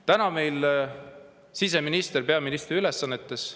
Praegu on meil siseminister peaministri ülesannetes.